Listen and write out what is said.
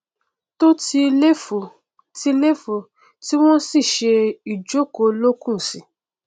to ti léfò ti léfò tí wọn sì ṣe ìjókòó olókùn sí i